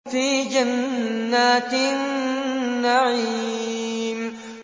فِي جَنَّاتِ النَّعِيمِ